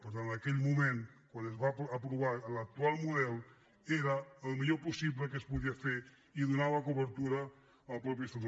per tant en aquell moment quan es va aprovar l’actual model era el millor possible que es po·dia fer i donava cobertura al mateix estatut